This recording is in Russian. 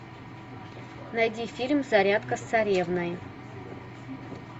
найди фильм зарядка с царевной